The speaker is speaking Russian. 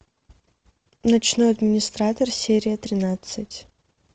ночной администратор серия тринадцать